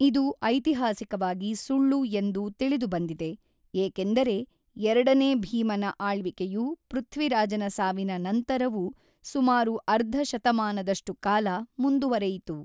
ಇದು ಐತಿಹಾಸಿಕವಾಗಿ ಸುಳ್ಳು ಎಂದು ತಿಳಿದುಬಂದಿದೆ, ಏಕೆಂದರೆ ಎರಡನೇ ಭೀಮನ ಆಳ್ವಿಕೆಯು ಪೃಥ್ವಿರಾಜನ ಸಾವಿನ ನಂತರವೂ ಸುಮಾರು ಅರ್ಧ ಶತಮಾನದಷ್ಟು ಕಾಲ ಮುಂದುವರೆಯಿತು.